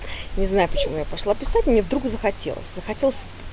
не знаю почему я пошла писать мне вдруг захотелось захотелось